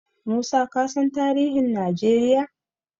Musa kasan tarihin Najeriya?